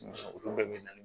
Olu bɛɛ bɛ na ni